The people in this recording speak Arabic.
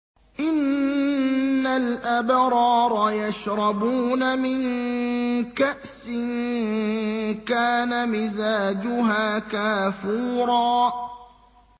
إِنَّ الْأَبْرَارَ يَشْرَبُونَ مِن كَأْسٍ كَانَ مِزَاجُهَا كَافُورًا